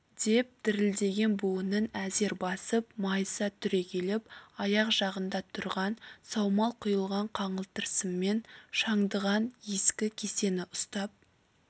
деп дірілдеген буынын әзер басып майыса түрегеліп аяқ жағында тұрған саумал құйылған қаңылтыр сыммен шандыған ескі кесені ұстап